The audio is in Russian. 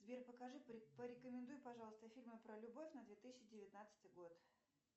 сбер покажи порекомендуй пожалуйста фильмы про любовь на две тысячи девятнадцатый год